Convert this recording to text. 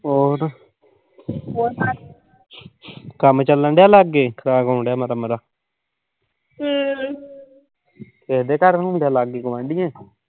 ਹੋਰ ਕੰਮ ਚੱਲਣ ਡਿਆ ਲਾਗੇ? ਖਰਾਬ ਹੋਣ ਡਿਆ ਮਾੜਾ-ਮਾੜਾ ਤੁਹਾਡੇ ਘਰ ਨੀਂ ਹੁੰਦਾ? ਲਾਗੇ ਗੁਆਂਢੀਆਂ ਦੇ?